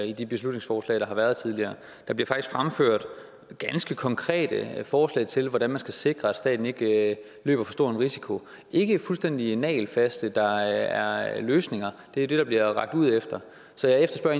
i de beslutningsforslag der har været tidligere der bliver faktisk fremført ganske konkrete forslag til hvordan man skal sikre at staten ikke løber for stor en risiko ikke fuldstændig nagelfaste der er løsninger det er det der bliver rakt ud efter så jeg efterspørger